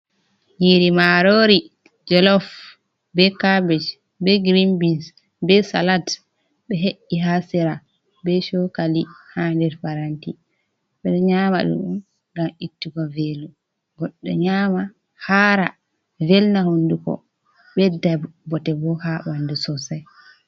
Nyiri marori jalof be kabej, be girinbins, be salat be he’’i ha sera be cokali ha nder paranti. ɓeɗo nyama ɗum on ngam ittugo velo, goɗɗo nyama hara velna honduko bedda botebo ha ɓandu sosai.